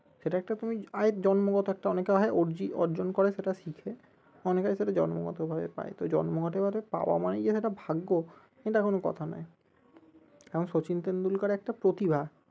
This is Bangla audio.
সেটা একটা তুমি জন্মগত একটা অনেকের হয় অর্জি অর্জন করে সেটা শিখে অনেকে সেটা জন্মগত ভাবে পাই তো জন্মগত ভাবে পাওয়া মানেই যে সেটা ভাগ্য এটা কোনো কথা নই এখন সচিন টেন্ডুলকার একটা প্রতিভা